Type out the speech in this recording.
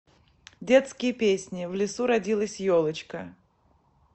детские песни в лесу родилась елочка